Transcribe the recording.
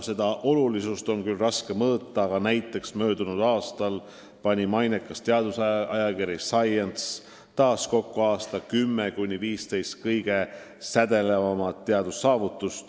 Seda olulisust on küll raske mõõta, aga näiteks möödunud aastal pani mainekas teadusajakiri Science taas kokku aasta 10–15 kõige sädelevamat teadussaavutust.